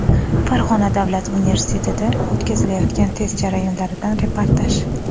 Farg‘ona davlat universitetida o‘tkazilayotgan test jarayonlaridan reportaj.